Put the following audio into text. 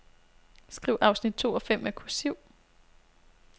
Skriv afsnit to og fem med kursiv.